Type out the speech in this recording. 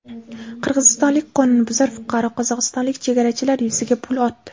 Qirg‘izistonlik qonunbuzar fuqaro qozog‘istonlik chegarachilar yuziga pul otdi.